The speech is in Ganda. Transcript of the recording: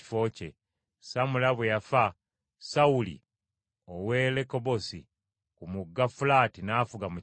Samula bwe yafa Sawuli ow’e Lekobosi, ku mugga Fulaati n’afuga mu kifo kye.